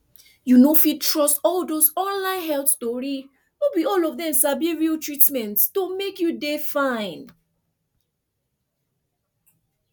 you no fit trust all dose online health tori no be all of dem sabi real treatment to make you dey fine